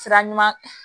Sira ɲuman